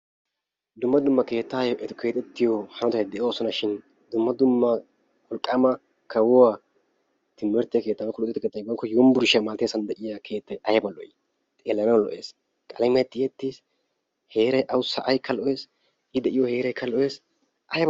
Dumma dumma keettayo eti keexxetiyo hanotatti de'oosona shin dumma dumma wolqqama kawuwa timirtte keetta woykko luxetta yunbburshshiyaa malatiyassa de'iyaa keettay aybba lo''i qalamiyaa tiyyeti; I de'iya say heeraykka lo''ees, aybba lo...